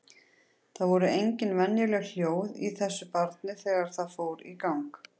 Það voru engin venjuleg hljóð í þessu barni þegar það fór í gang.